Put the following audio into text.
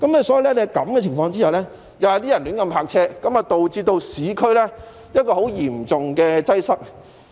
所以，在這情況下，便有人胡亂泊車，導致市區出現很嚴重的擠塞情況。